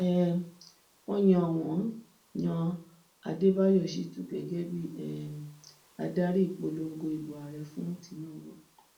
um wọ́n yàn wọ́n yan àdébáyò shitun gẹgẹ bíi um adarí ìpọnlọgọ ìbò ààrẹ fún tinubu